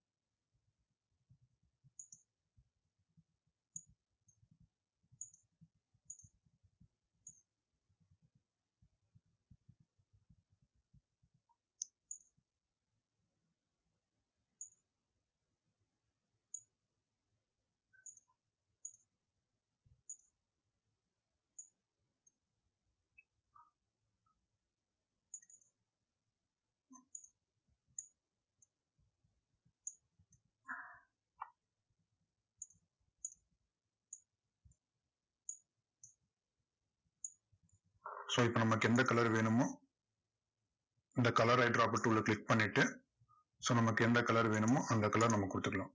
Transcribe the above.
so இப்போ நமக்கு எந்த color வேணுமோ, அந்த color அ dropper tool ல click பண்ணிட்டு so நமக்கு எந்த color வேணுமோ அந்த color நம்ம கொடுத்துக்கலாம்.